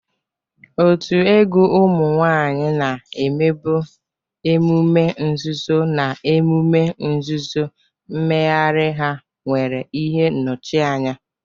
Otu egwu ụmụ nwanyị na-emebu emume nzuzo na emume nzuzo, mmegharị ha nwere ihe nnọchianya.